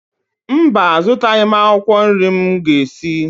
Mba, azụtaghị m akwụkwọ nri m ga-esi